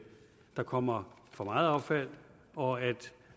der kommer for meget affald og at